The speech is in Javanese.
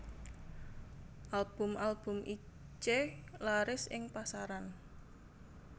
Album album Itje laris ing pasaran